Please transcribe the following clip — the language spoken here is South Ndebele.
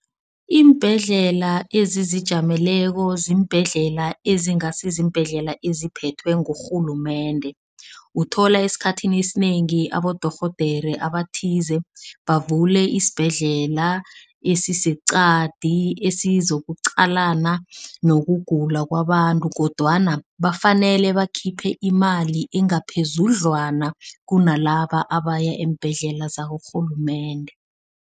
Iimbhedlela ezizijameleko ziimbhedlela ezingasiziimbhedlela eziphethwe ngurhulumende. Uthola esikhathini esinengi abodorhodere abathize bavule isibhedlela esiseqadi, esizokuqalana nokugula kwabantu kodwana bafanele bakhiphe imali engaphezudlwana kunalaba abaya eembhedlela zakarhulumende.